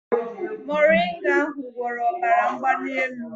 Moringa ahụ gwọrọ ọbara mgbali elu m